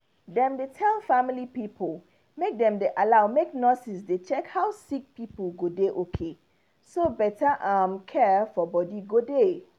dem dey tell family pipo make dem allow make nurses dey check how sick people go dey okay so better um care for body go dey.